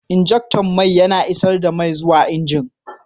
Injector mai yana isar da mai zuwa injin.